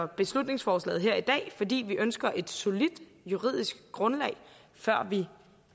beslutningsforslaget her i dag fordi vi ønsker et solidt juridisk grundlag før vi